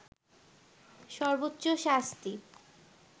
সর্বোচ্চ শাস্তি